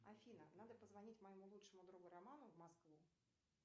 афина надо позвонить моему лучшему другу роману в москву